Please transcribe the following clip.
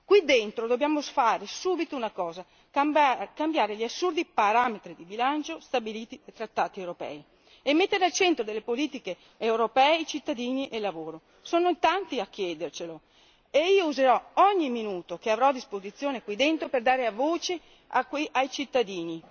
Qui dentro dobbiamo fare subito una cosa cambiare gli assurdi parametri di bilancio stabiliti dai trattati europei e mettere al centro delle politiche europee i cittadini e il lavoro. Sono in tanti a chiedercelo e io userò ogni minuto che avrò a disposizione qui dentro per dare voce ai cittadini.